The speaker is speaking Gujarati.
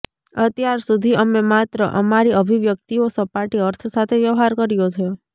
અત્યાર સુધી અમે માત્ર અમારી અભિવ્યક્તિઓ સપાટી અર્થ સાથે વ્યવહાર કર્યો છે